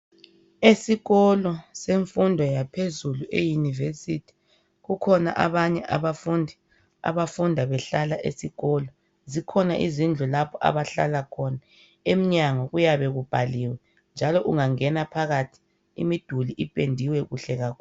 Esikolo semfundo yaphezulu e'University kukhona abanye abafundi abafunda behlala esikolo zikhona izindlu lapho abahlala khona emnyango kuyabe kubhaliwe njalo ungangena phakathi imiduli ipendiwe kuhle kakhulu.